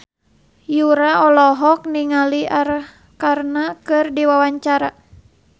Yura olohok ningali Arkarna keur diwawancara